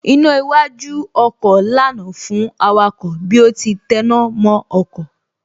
Iná iwájú ọkọ̀ lànà fún awakọ̀ bí ó ti tẹná mọ́ ọkọ̀